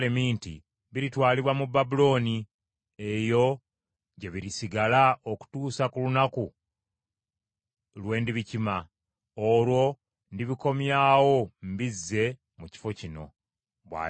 ‘Biritwalibwa mu Babulooni eyo gye birisigala okutuusa ku lunaku lwe ndibikima, olwo ndibikomyawo mbizze mu kifo kino,’ ” bw’ayogera Mukama .